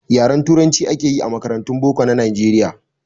Yaren turanci akeyi a makarantun boko na nijeriya